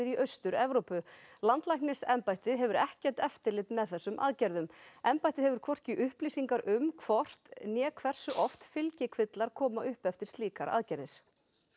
í Austur Evrópu landlæknisembættið hefur ekkert eftirlit með þessum aðgerðum embættið hefur hvorki upplýsingar um hvort né hversu oft fylgikvillar koma upp eftir slíkar aðgerðir